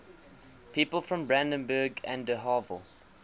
people from brandenburg an der havel